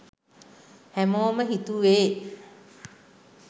හැමෝම හිතුවේ